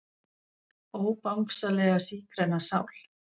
Ó Bangsalega sígræna sál.